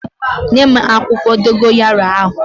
Nyem akwukwo dogoyaro ahu!